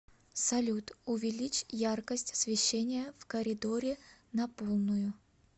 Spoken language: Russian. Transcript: салют увеличь яркость освещения в коридоре на полную